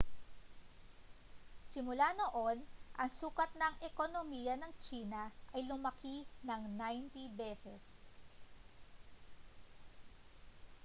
simula noon ang sukat ng ekonomiya ng tsina ay lumaki nang 90 beses